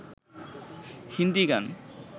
হিন্দী গান